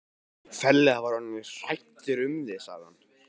Ferlega var ég orðinn hræddur um þig sagði hann.